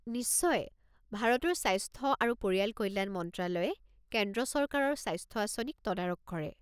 নিশ্চয়। ভাৰতৰ স্বাস্থ্য আৰু পৰিয়াল কল্যাণ মন্ত্ৰালয়ে কেন্দ্ৰ চৰকাৰৰ স্বাস্থ্য আঁচনিৰ তদাৰক কৰে।